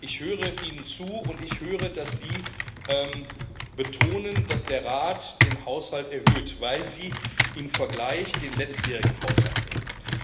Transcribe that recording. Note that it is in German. Ich höre Ihnen zu, und ich höre, dass Sie betonen, dass der Rat den Haushalt erhöht, weil Sie im Vergleich den letztjährigen Haushalt nehmen.